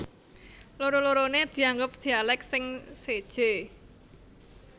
Loro loroné dianggep dialèk sing séjé